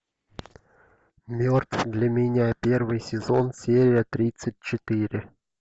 мертв для меня первый сезон серия тридцать четыре